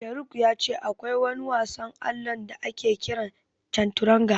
Sharuk ya ce akwai wani wasan allon da ake kira Canturanga.